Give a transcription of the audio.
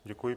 Děkuji.